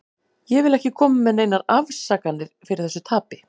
Ég vil ekki koma með neinar afsakanir fyrir þessu tapi.